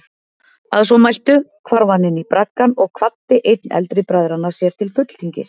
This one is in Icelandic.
Að svo mæltu hvarf hann inní braggann og kvaddi einn eldri bræðranna sér til fulltingis.